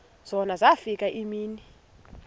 zona zafika iimini